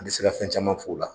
A bɛ se ka fɛn camaan fɔ o la.